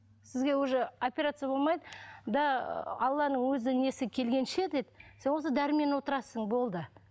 сізге уже операция болмайды да алланың өзі несі келгенше дейді сен осы дәрімен отырасың болды